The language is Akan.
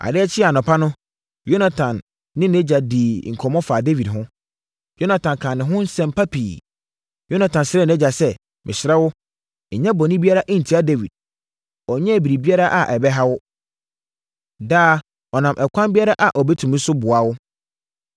Adeɛ kyee anɔpa no, Yonatan ne nʼagya dii nkɔmmɔ faa Dawid ho. Yonatan kaa ne ho nsɛm pa pii. Yonatan srɛɛ nʼagya sɛ, “Mesrɛ wo, nyɛ bɔne biara ntia Dawid. Ɔnyɛɛ biribiara a ɛbɛha wo. Daa, ɔnam ɛkwan biara a ɔbɛtumi so boa wo.